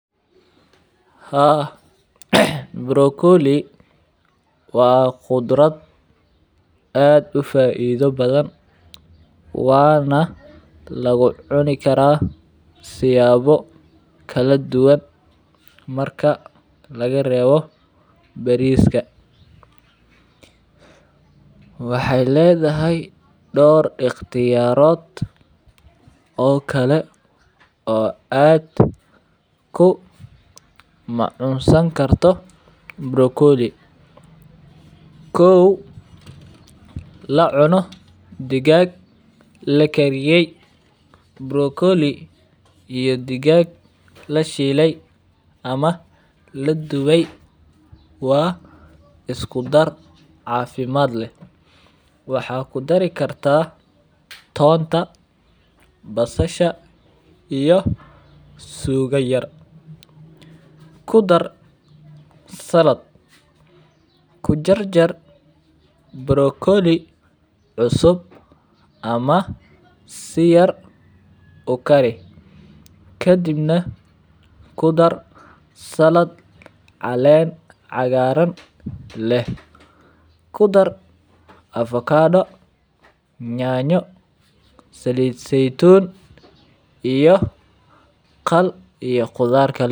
Haa, brokolli waa qudrad aad ufaaidho badhan waana lagucuni karaa siyaabo kaladuwan marka lagareebo bariiska. Waxey leedhahy door iqtiyaarood oo kale oo aad kumacunsan karto brokolli. Kow lacuno digaaga lakariyey brokolli iyo digaaga ladhiiley ama laduwey waa iskudar caafimad leh. Waxaa kudari kartaa toonta, basasha iyo suuga yar. Kudar salad kujarjar brokolli cusub ama siyar ukari, kadib neh kudar salad caleen cagaarana leh kudar avocado nyanyo Sali seytun iyo qadar kal